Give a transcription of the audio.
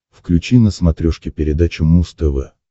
включи на смотрешке передачу муз тв